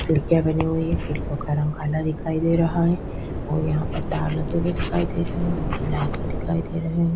एक खिड़किया बनी हुई है खिड़कियों का रंग काला दिखाई दे रहा है और यहाँ पर तार लगे हुए दिखाई दे रहे है और लाइट भी --